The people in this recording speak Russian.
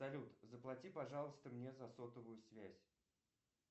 салют заплати пожалуйста мне за сотовую связь